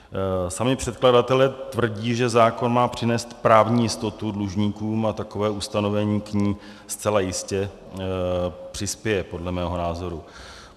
Sami předkladatelé tvrdí, že zákon má přinést právní jistotu dlužníkům, a takové ustanovení k ní zcela jistě přispěje podle mého názoru.